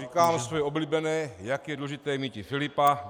Říkám své oblíbené - jak je důležité míti Filipa.